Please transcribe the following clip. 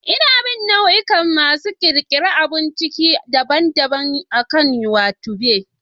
Ina bin nau'ikan masu ƙirƙirar abun ciki daban-daban akan YouTube.